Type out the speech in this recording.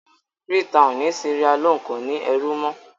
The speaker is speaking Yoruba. Freetown ni Sierra-Leone kò ní ní ẹrú mọ́.